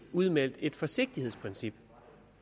udmeldt et forsigtighedsprincip